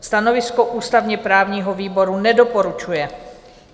Stanovisko ústavně-právního výboru: nedoporučuje.